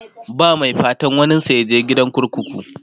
ba Mai fatan waninsa yaje gidan kurkuku